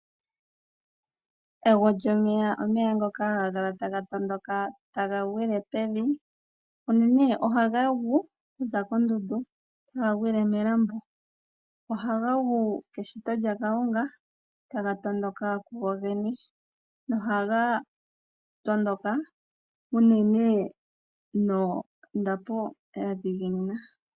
Ego lyomeya omeya ngoka haga kala taga tondoka taga gwile pevi. Unene ohaga gu okuza kondundu taga gwile melambo. Ohaga gu keshito lyaKalunga taga tondoka kugogene nohaga tondoka unene nondapo ya dhiginina.